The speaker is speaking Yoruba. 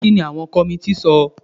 Kí ni àwọn kọmití sọ?